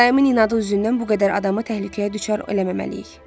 Dayımın inadı üzündən bu qədər adamı təhlükəyə düçar eləməməliyik.